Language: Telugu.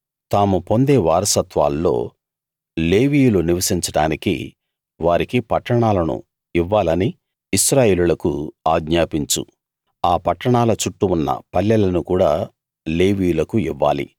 తాము పొందే వారసత్వాల్లో లేవీయులు నివసించడానికి వారికి పట్టణాలను ఇవ్వాలని ఇశ్రాయేలీయులకు ఆజ్ఞాపించు ఆ పట్టణాల చుట్టూ ఉన్న పల్లెలను కూడా లేవీయులకు ఇవ్వాలి